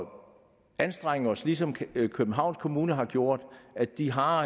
anstrenge os ligesom københavns kommune har gjort de har